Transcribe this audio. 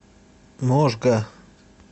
можга